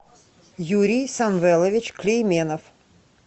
юрий самвелович клейменов